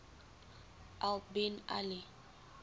al bin ali